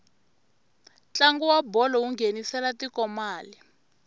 ntlangu wa bolo wu nghenisela tiko mali